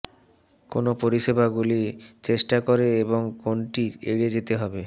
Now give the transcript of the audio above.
কোন পরিষেবাগুলি চেষ্টা করে এবং কোনটি এড়িয়ে চলতে হবে